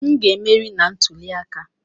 M ga-emeri na ntuli aka!